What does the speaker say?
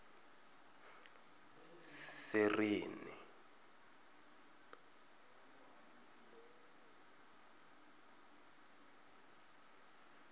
sereni